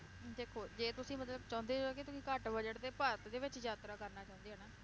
ਦੇਖੋ, ਜੇ ਤੁਸੀਂ ਮਤਲਬ ਚਾਹੁੰਦੇ ਹੋ ਕਿ ਤੁਸੀਂ ਘੱਟ budegt ਤੇ ਭਾਰਤ ਦੇ ਵਿਚ ਯਾਤਰਾ ਕਰਨਾ ਚਾਹੁੰਦੇ ਹੋ ਨਾ,